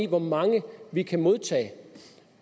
hvor mange vi kan modtage